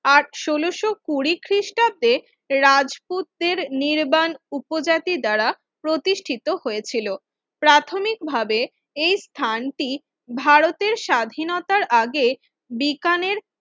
ষোলশ কুঁড়ি খ্রিস্টাব্দে রাজপুতদের নির্বাণ উপজাতি দ্বারা প্রতিষ্ঠিত হয়েছিল প্রাথমিকভাবে এই স্থানটি ভারতের স্বাধীনতার আগে বিকানের